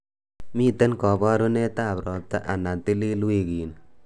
Miten kaborunet ab robta anan tilil wikini